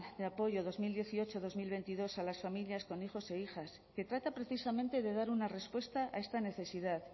de apoyo dos mil dieciocho dos mil veintidós a las familias con hijos e hijas que trata precisamente de dar una respuesta a esta necesidad